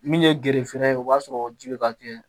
Min ye gerefer ye o b'a sɔrɔ ji bɛ ka kɛ